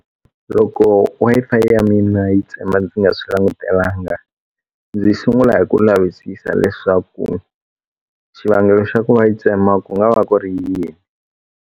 Loko Wi-Fi ya mina yi tsema ndzi nga swi langutelanga ndzi sungula hi ku lavisisa leswaku xivangelo xa ku va yi tsema ku nga va ku ri yini.